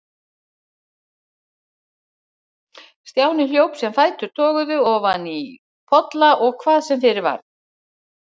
Stjáni hljóp sem fætur toguðu, ofan í polla og hvað sem fyrir varð.